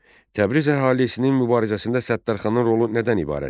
1. Təbriz əhalisinin mübarizəsində Səttarxanın rolu nədən ibarət idi?